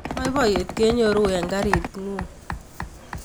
Boiboiyet kenyoru engaritingung